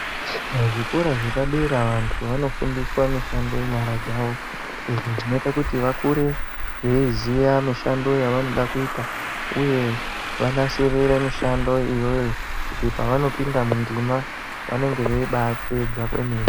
Muzvikora zvepadera vantu vanofundiswa mishando yenyara dzavo izvo zvinoita kuti vakure veiziya mishando yevanode kuita, uye vanasirire mishando iyoyo kuti pavanopinda mundima vanenge veibaapedza kwemene.